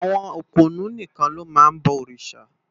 Awòn ópónù nikán ló má n bò órisá